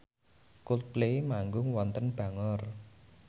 Coldplay manggung wonten Bangor